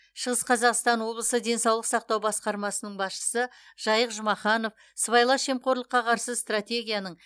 шығыс қазақстан облысы денсаулық сақтау басқармасының басшысы жайық жұмаханов сыбайлас жемқорлыққа қарсы стратегияның